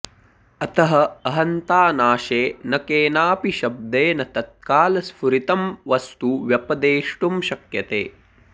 अतः अहन्तानाशे न केनापि शब्देन तत्कालस्फुरितं वस्तु व्यपदेष्टुं शक्यते